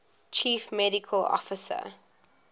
chief medical officer